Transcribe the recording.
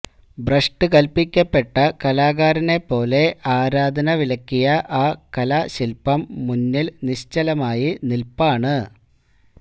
ഭ്രഷ്ടു കല്പ്പിക്കപ്പെട്ട കലാകാരനെപ്പോലെ ആരാധനവിലക്കിയ ആ കലാശില്പ്പം മുന്നില് നിശ്ചലമായി നില്പ്പാണ്